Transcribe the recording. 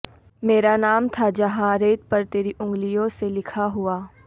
مرا نام تھا جہاں ریت پر تری انگلیوں سے لکھا ہوا